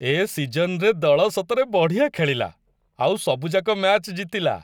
ଏ ସିଜନ୍‌ରେ ଦଳ ସତରେ ବଢ଼ିଆ ଖେଳିଲା, ଆଉ ସବୁଯାକ ମ୍ୟାଚ୍ ଜିତିଲା ।